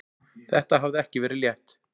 Þetta hafði ekki verið létt.